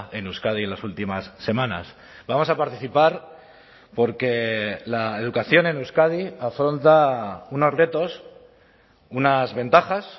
en euskadi en las últimas semanas vamos a participar porque la educación en euskadi afronta unos retos unas ventajas